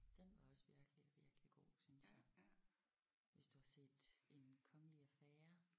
Den var også virkelig virkelig god synes jeg hvis du har set En kongelig affære